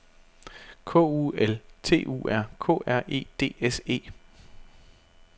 K U L T U R K R E D S E